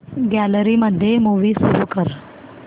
gallery मध्ये movie सुरू कर